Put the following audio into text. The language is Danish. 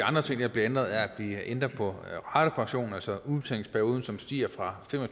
bliver ændret er at vi ændrer på ratepensionen altså udbetalingsperioden som stiger fra fem og